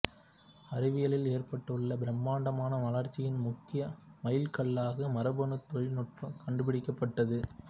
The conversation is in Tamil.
அறிவியலில் ஏற்பட்டுள்ள பிரம்மாண்டமான வளர்ச்சியின் முக்கிய மைல்கல்லாக மரபணு தொழில் நுட்பம் கண்டுபிடிக்கப்பட்டது